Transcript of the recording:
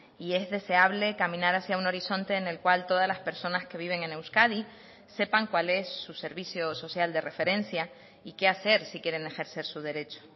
y es deseable caminar hacia un horizonte en el cual todas las personas que viven en euskadi sepan cuál es su servicio social de referencia y qué hacer si quieren ejercer su derecho